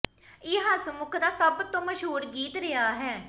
ਇਹ ਹੱਸਮੁੱਖ ਦਾ ਸਭ ਤੋਂ ਮਸ਼ਹੂਰ ਗੀਤ ਰਿਹਾ ਹੈ